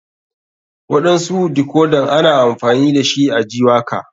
Waɗansu dikodan ana amfani dashi a ji waka.